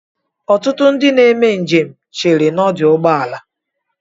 Ọtụtụ ndị na-eme njem cheere n'ọdụ ụgbọala a.